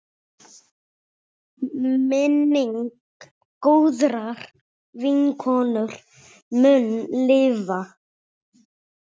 Minning góðrar vinkonu mun lifa.